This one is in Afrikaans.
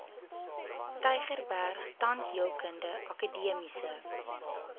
tygerberg tandheelkundige akademiese